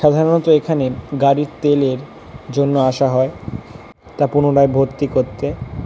সাধারণত এখানে গাড়ির তেল এর জন্য আসা হয় তা পুনরায় ভর্তি করতে।